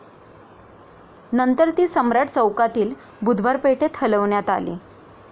नंतर ती सम्राट चौकातील बुधवार पेठेत हलविण्यात आली.